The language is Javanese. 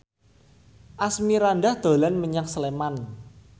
Asmirandah dolan menyang Sleman